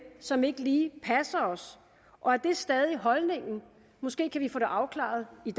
som ikke lige passer os og er det stadig holdningen måske kan vi få det afklaret i